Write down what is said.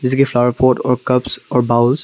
flower pot और bowl --